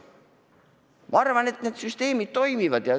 Ma arvan, et need süsteemid toimivad.